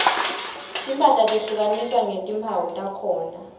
timphahla tehlukaniswa ngetimphawu takhona